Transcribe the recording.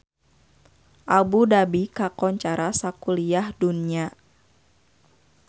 Abu Dhabi kakoncara sakuliah dunya